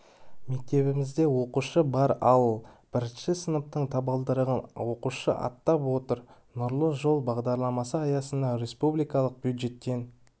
мектебімізде оқушы бар ал бірінші сыныптың табалдырығын оқушы аттап отыр нұрлы жол бағдарламасы аясында республикалық бюджеттен